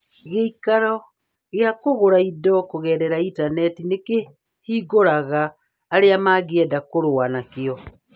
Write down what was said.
Gĩikaro kĩa kũgũra indo kũgerera Intaneti nĩ kĩhingũraga arĩa mangĩenda kũrũa na kĩo